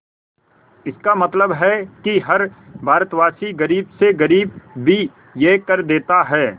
इसका मतलब है कि हर भारतवासी गरीब से गरीब भी यह कर देता है